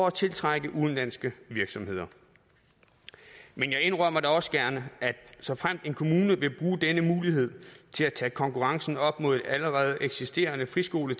og tiltrække udenlandske virksomheder men jeg indrømmer da også gerne at såfremt en kommune vil bruge denne mulighed til at tage konkurrencen op med en allerede eksisterende friskole